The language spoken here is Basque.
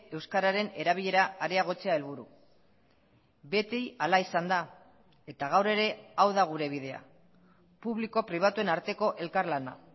euskararen erabilera areagotzea helburu beti hala izan da eta gaur ere hau da gure bidea publiko pribatuen arteko elkarlana